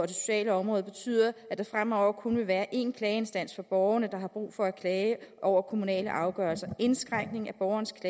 det sociale område betyder at der fremover kun vil være en klageinstans for borgerne der har brug for at klage over kommunale afgørelser indskrænkning af borgernes